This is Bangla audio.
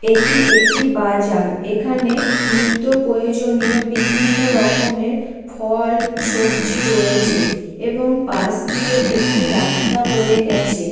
এটি একটি বাজার। এখানে নিত্ত্য প্রয়জনিয় বিভন্ন রকমের ফল সবজি রয়েছে এবং পাশ দিয়ে একটি রাস্তা বয়ে গেছে।